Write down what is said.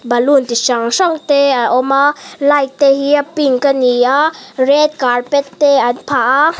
balloon chi hran hran te a awm a light te hi a pink a ni a red carpet te an phah a.